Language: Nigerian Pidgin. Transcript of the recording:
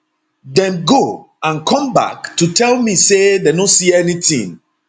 dem go and come back to tell me say dem no see anytin